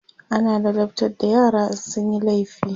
ana ladabtar da yara in sunyi laifi